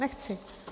Nechci.